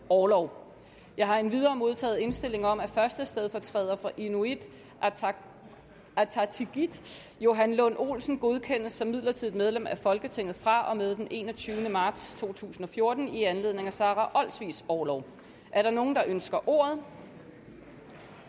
orlov jeg har endvidere modtaget indstilling om at første stedfortræder for inuit ataqatigiit johan lund olsen godkendes som midlertidigt medlem af folketinget fra og med den enogtyvende marts to tusind og fjorten i anledning af sara olsvigs orlov er der nogen der ønsker ordet